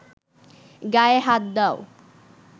গায়ে হাত দাও